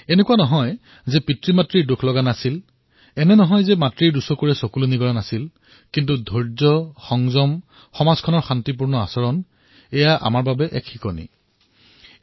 এনেকুৱা নহয় যে তেওঁলোকৰ মাকদেউতাক দুখী নাছিল মাকদেউতাকৰ চকুলৈ চকুলো অহা নাছিল কিন্তু ধৈৰ্য সংযম সমাজৰ শান্ত ব্যৱহাৰ এয়া নিজৰ মাজতেই সকলোৰে বাবে শিকনীয় বিষয়